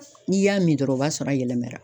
N'i y'a min dɔrɔn o b'a sɔrɔ a yɛlɛmɛra